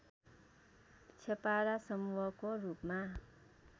छेपारा समूहको रूपमा